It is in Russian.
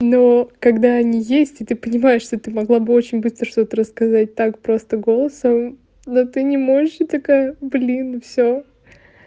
ну когда они есть и ты понимаешь что ты могла бы очень быстро что-то рассказать так просто голосом но ты не можешь и такая блин все